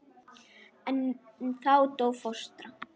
En þá dó fóstra.